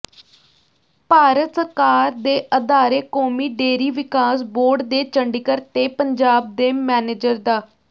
ਭਾਰਤ ਸਰਕਾਰ ਦੇ ਅਦਾਰੇ ਕੌਮੀ ਡੇਅਰੀ ਵਿਕਾਸ ਬੋਰਡ ਦੇ ਚੰਡੀਗੜ੍ਹ ਤੇ ਪੰਜਾਬ ਦੇ ਮੈਨੇਜਰ ਡਾ